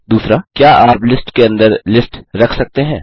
2क्या आप लिस्ट के अंदर लिस्ट रख सकते हैं